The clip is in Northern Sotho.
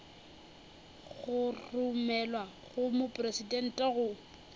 go romelwa go mopresidente go